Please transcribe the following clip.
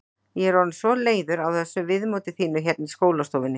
Ég er orðin svo leiður á þessu viðmóti þínu hérna í skólastofunni.